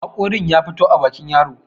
haƙorin ya fito a bakin yaron